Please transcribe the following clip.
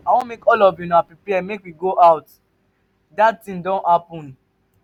i wan make all of una prepare make we go out. dat thing don happen.